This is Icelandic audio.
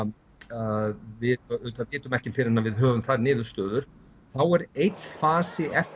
að við auðvitað vitum ekki fyrr en við höfum þær niðurstöður þá er einn fasi eftir